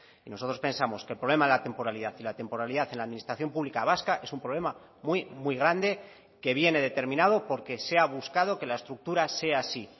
y nosotros pensamos que el problema de la temporalidad y la temporalidad en la administración pública vasca es un problema muy muy grande que viene determinado porque se ha buscado que la estructura sea así